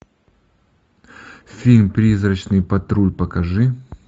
фильм призрачный патруль покажи